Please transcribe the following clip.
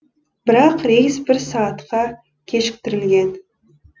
бірақ рейс бір сағатқа кешіктірілген